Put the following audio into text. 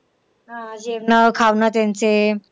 हा जेवणं खावणं त्यांचे.